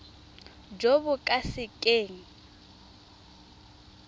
jo bo ka se keng